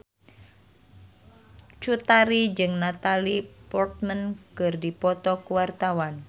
Cut Tari jeung Natalie Portman keur dipoto ku wartawan